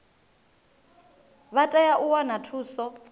vha tea u wana thuso